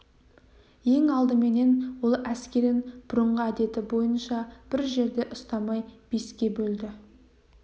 ең алдыменен ол әскерін бұрынғы әдеті бойынша бір жерде ұстамай беске бөлді